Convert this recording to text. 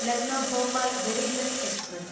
Lucknow Bhopal Garib Rath express